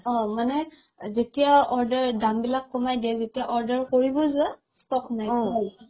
অ মানে যেতিয়া order দাম বিলাক কমাই দিয়ে যেতিয়া order কৰিব যোৱা stock নাই